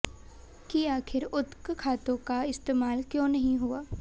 कि आखिर उक्त खातों का इस्तेमाल क्यों नहीं हुआ